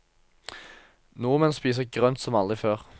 Nordmenn spiser grønt som aldri før.